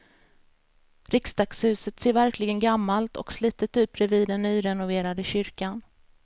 Riksdagshuset ser verkligen gammalt och slitet ut bredvid den nyrenoverade kyrkan.